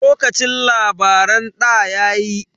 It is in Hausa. Lokacin labaran ɗa yayi.